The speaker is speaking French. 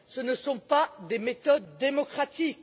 Ce ne sont pas des méthodes démocratiques.